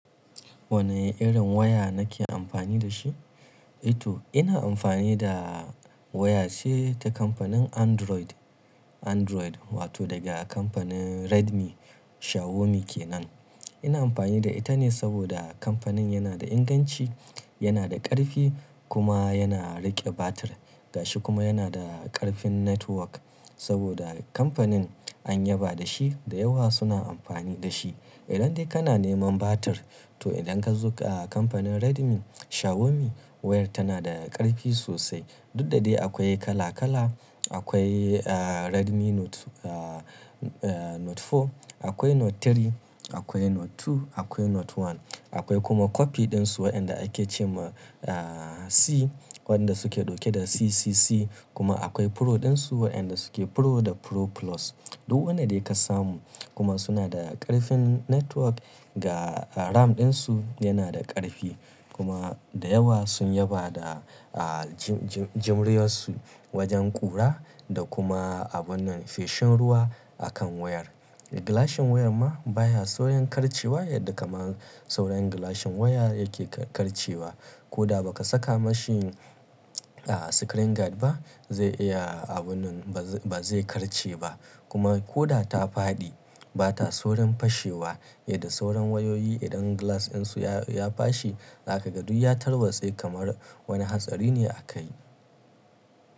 Wane irin waya nake amfani da shi? Eh to, ina amfani da waya ce ta kamfanin Android, Android wato daga kamfanin Redmi Xiaomi kenan. Ina amfani da ita ne saboda kamfanin yana da inganci, yana da ƙarfi kuma yana riƙe batir. Gashi kuma yana da ƙarfin network saboda kamfanin an yaba da shi, da yawa suna amfani da shi. Idan dai kana neman batir to idan ka zo ga kamfanin Redmi Xiaomi wayar tana da ƙarfi sosai. Duk da dai akwai kala-kala, akwai, ah, Redmi Note, ah, Note Four, akwai Note Three, akwai Note Two, akwai Note One. Akwai kuma copy ɗinsu waɗanda ake ce ma, ah, C waɗanda suke dauke da CCC kuma akwai Pro ɗinsu waɗanda suke Pro da Pro Plus. Duk wanda da ya ka samu kuma suna da ƙarfin network ga RAM ɗinsu yana da ƙarfi kuma da yawa sun yaba da, ah, ji-ji-juriyarsu wajen ƙura da kuma abun nan feshin ruwa a kan wayar. Gilashin wayar ma baya saurin karcewa yadda kaman sauran gilashin waya yake karcewa. Ko da ba ka saka mashi, ah, screen guard ba zai iya abunnan ba zai karce ba kuma ko da ta faɗi bata saurin fashewa yadda sauran wayoyi idan glass ɗinsu ya-ya fashe zaka ga duk ya tarwatse kamar wani hatsari ne aka yi.